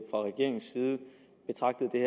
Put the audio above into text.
fra regeringens side betragtede det